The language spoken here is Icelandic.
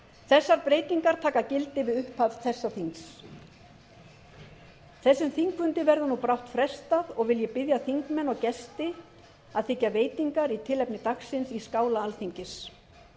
þessar breytingar taka gildi við upphaf þessa þings þessum þingfundi verður nú brátt frestað og vil ég biðja þingmenn og gesti að þiggja veitingar í tilefni dagsins í skála alþingis